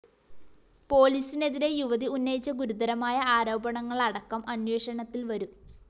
പോലീസിനെതിരെ യുവതി ഉന്നയിച്ച ഗുരുതരമായ ആരോപണങ്ങളടക്കം അന്വേഷണത്തില്‍ വരും